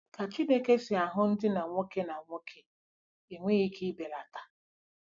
Ka Chineke si ahụ ndinna nwoke na nwoke enweghị ike ịbelata